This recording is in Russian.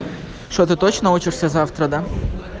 что ты точно учишься завтра да